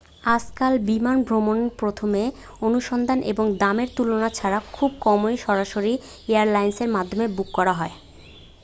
আজকাল বিমান ভ্রমণ প্রথমে অনুসন্ধান এবং দামের তুলনা ছাড়া খুব কমই সরাসরি এয়ারলাইনের মাধ্যমে বুক করা হয়